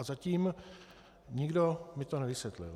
A zatím nikdo mi to nevysvětlil.